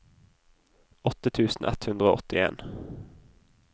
åtte tusen ett hundre og åttien